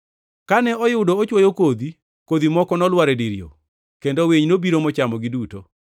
Kane oyudo ochwoyo kodhi, kodhi moko nolwar e dir yo, kendo winy nobiro mochamogi duto.